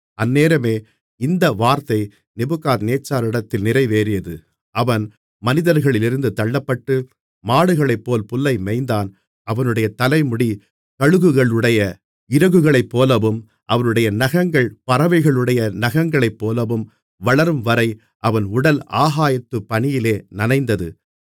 அந்நேரமே இந்த வார்த்தை நேபுகாத்நேச்சாரிடத்தில் நிறைவேறியது அவன் மனிதர்களிலிருந்து தள்ளப்பட்டு மாடுகளைப்போல் புல்லை மேய்ந்தான் அவனுடைய தலைமுடி கழுகுகளுடைய இறகுகளைப்போலவும் அவனுடைய நகங்கள் பறவைகளுடைய நகங்களைப்போலவும் வளரும்வரை அவன் உடல் ஆகாயத்துப் பனியிலே நனைந்தது